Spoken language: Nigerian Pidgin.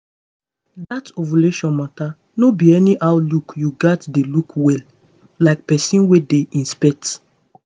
um that ovulation matter no be anyhow look you gats dey look well like person wey dey inspect